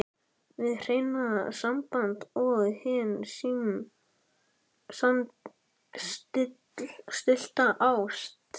HIÐ HREINA SAMBAND OG HIN SAMSTILLTA ÁST